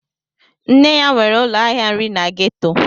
Nne ya nwere ụlọ ahịa nri na gétò